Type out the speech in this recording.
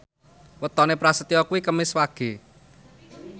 wetone Prasetyo kuwi Kemis Wage